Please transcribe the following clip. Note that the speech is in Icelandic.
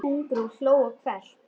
Hugrún hló hvellt.